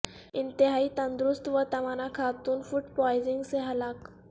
انتہائی تندرست و توانا خاتون فوڈ پوائزنگ سے ہلاک